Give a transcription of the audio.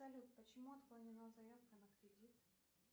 салют почему отклонена заявка на кредит